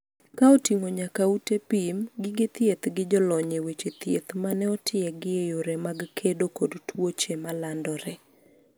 ka oting'o nyaka ute pim, gige thieth gi jolony e weche thieth mane otiegi e yore mag kedo kod tuoche malandore